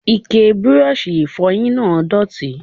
Ike Bírọ́ọ̀ṣì ìfọyín náà dọ̀tí.